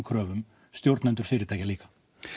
kröfum stjórnendur fyrirtækja líka